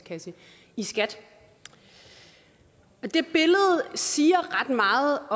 i skat det billede siger ret meget